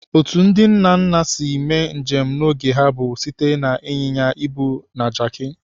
Otu ndị nna nna si mee njem n'oge ha bụ site na ịnyịnya ibu na Jaki.